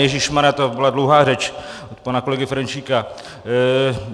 Ježíšmarjá, to byla dlouhá řeč od pana kolegy Ferjenčíka.